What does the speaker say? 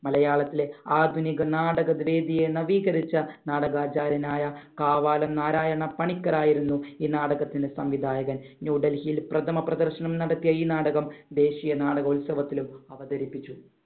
മലയാളത്തിലെ ആധുനിക നാടക വേദിയെ നവീകരിച്ച നാടകാചാര്യനായ കാവാലം നാരായണ പണിക്കർ ആയിരുന്നു ഈ നാടകത്തിന്‍റെ സംവിധായകൻ. ന്യൂഡൽഹിയിൽ പ്രഥമ പ്രദർശനം നടത്തിയ ഈ നാടകം ദേശീയ നാടകോത്സവത്തിലും അവതരിപ്പിച്ചു.